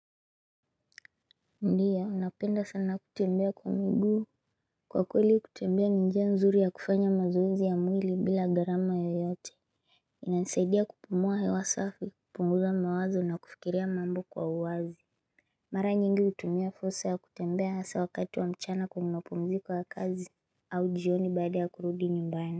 Ndiya napenda sana kutembea kwa miguu Kwa kweli kutembea ni njia nzuri ya kufanya mazoezi ya mwili bila gharama yoyote inasaidia kupumua hewa safi kupunguza mawazo na kufikiria mambo kwa uwazi Mara nyingi utumia fursa ya kutembea hasa wakati wa mchana kwenye mapumziko ya kazi au jioni baada ya kurudi nyumbani.